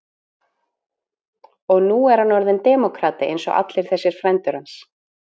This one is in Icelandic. Og nú er hann orðinn demókrati eins og allir þessir frændur hans.